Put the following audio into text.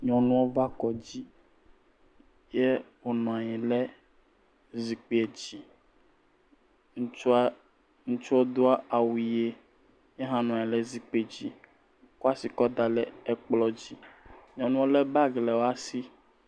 Nyɔnuwo va kɔdzi yɛ wonɔ anyi lɛ zikpiɛ dzi. Ŋutsua, ŋutsuɔ do awu yee. Yɛ hã nɔ anyi le zikpoedzi. Kɔ asi kɔ da ɖe ekplɔ̃dzi. Nyɔnua lé baagi le woasi.